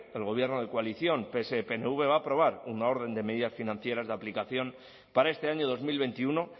el gobierno de coalición pse pnv va a aprobar una orden de medidas financieras de aplicación para este año dos mil veintiuno